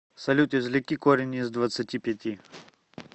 салют извлеки корень из двадцати пяти